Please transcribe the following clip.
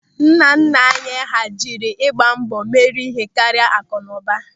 Nnanna anyị hà jiri ịgba mbọ mere ihe karịa akụnụba.